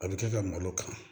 A bɛ kɛ ka malo kan